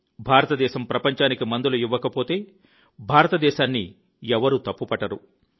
భారతదేశం ప్రపంచానికి మందులు ఇవ్వకపోతే భారతదేశాన్ని ఎవరూ తప్పు పట్టరు